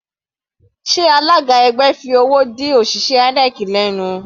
Sé alága ẹgbẹ́ fi owó dí òṣìṣẹ́ INEC lẹ́nu?